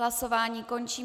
Hlasování končím.